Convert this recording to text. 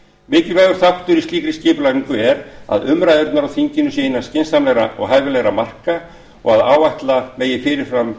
þáttur í slíkri skipulagningu er að umræðurnar á þinginu séu innan skynsamlegra og hæfilegra marka og að áætla megi fyrirfram